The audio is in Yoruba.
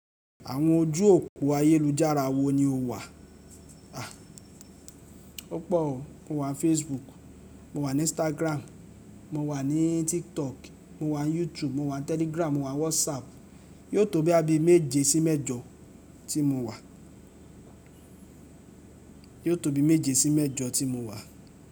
Àwọn ojú òpó ayélujára wo ni o wà? A! Ó pò o, mo wà n Facebook, mo wà ní Instagram, mo wà ní TikTok, mo wà ní YouTube, mo wà ní Telegram, mo wà ní WhatsApp. Yóò tó boya bi méje sí mẹ́jọ tí mo wà. Yóò tó bí méje sí mẹ́jọ tí mo wà.